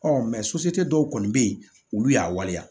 dɔw kɔni bɛ yen olu y'a waleya